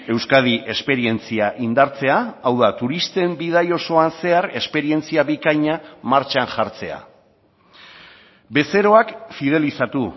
euskadi esperientzia indartzea hau da turisten bidai osoan zehar esperientzia bikaina martxan jartzea bezeroak fidelizatu